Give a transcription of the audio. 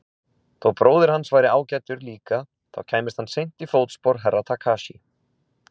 Þó bróðir hans væri ágætur líka þá kæmist hann seint í fótspor Herra Takashi.